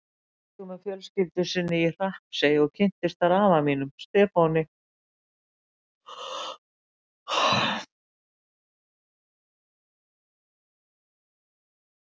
Hún fluttist tvítug með fjölskyldu sinni í Hrappsey og kynntist þar afa mínum, Stefáni.